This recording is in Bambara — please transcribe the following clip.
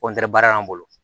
baara y'an bolo